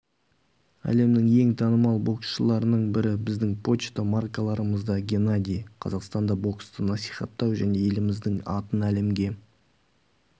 әлемнің ең танымал боксшыларының бірі біздің пошта маркаларымызда геннадий қазақстанда боксты насихаттау және еліміздің атын әлемге